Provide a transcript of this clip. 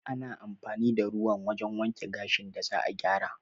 Ana amfani da ruwan wajen wanke gashin da za'a gyara